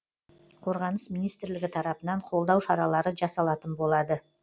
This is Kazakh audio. қорғаныс министрлігі тарапынан қолдау шаралары жасалатын болады